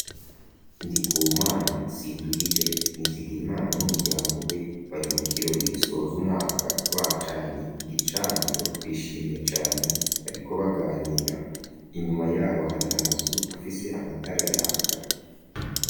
Ndi ku mana sinduhije nwizigiye imana n'umuryango we bari mu kirora igisoza umwaka bacanye igicaniro bishimye cane bariko baganira inyuma yabo hari amazu afise amatara yaka.